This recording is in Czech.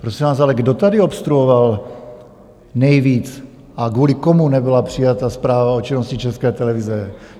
Prosím vás, ale kdo tady obstruoval nejvíc a kvůli komu nebyla přijata zpráva o činnosti České televize?